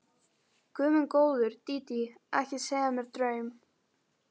Guð minn góður, Dídí, ekki segja mér draum.